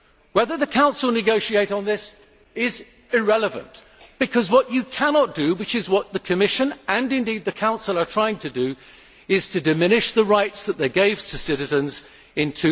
Whether the Council negotiates on this is irrelevant, because what you cannot do, which is what the Commission and indeed the Council are trying to do, is to diminish the rights they gave to citizens in